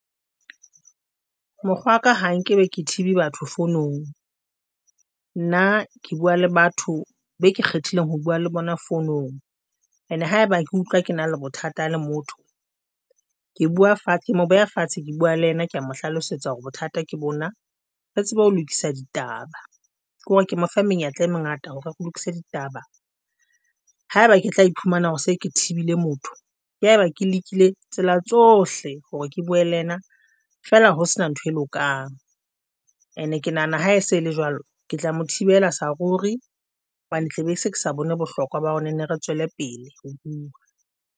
Mokgwa wa ka ha nkebe ke thibi batho founung, nna ke bua le batho beke kgethileng ho bua le bona founong, and ha eba ke utlwa ke na le bothata le motho, ke bua fatshe, ke mo beha fatshe, ke bua le yena, ke ya mo hlalosetsa hore bothata ke bona re tsebe ho lokisa ditaba ke hore ke mo fe menyetla e mengata hore ke lokise ditaba. Ha eba ke tla iphumana hore se ke thibile motho ke ha eba ke lekile tsela tsohle hore ke bue le yena feela ho se na nthwe lokang. And ke nahana ha se ele jwalo. Ke tla mo thibela saruri hobane tla be ke se ke sa bone bohlokwa ba hore nenne re tswele pele ho bua.